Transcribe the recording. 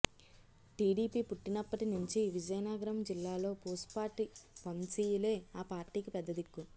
TDP పుట్టినప్పటి నుంచి విజయనగరం జిల్లాలో పూసపాటి వంశీయులే ఆ పార్టీకి పెద్ద దిక్కు